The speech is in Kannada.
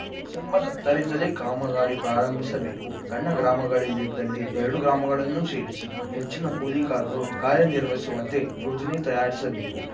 ಡಿಸೆಂಬರ್ ಹತ್ತರಿಂದಲೇ ಕಾಮಗಾರಿ ಪ್ರಾರಂಭಿಸಬೇಕು ಸಣ್ಣ ಗ್ರಾಮಗಳಿದ್ದಲ್ಲಿ ಎರಡು ಗ್ರಾಮಗಳನ್ನು ಸೇರಿಸಿ ಹೆಚ್ಚಿನ ಕೂಲಿಕಾರರು ಕಾರ್ಯನಿರ್ವಹಿಸುವಂತೆ ಯೋಜನೆ ತಯಾರಿಸಬೇಕು